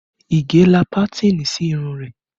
Ige la pátìnì sí irun rẹ